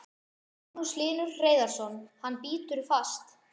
Magnús Hlynur Hreiðarsson: Hann bítur fast?